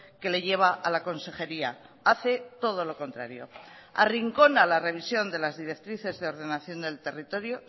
que le lleva a la consejería hace todo lo contrario arrincona la revisión de las directrices de ordenación del territorio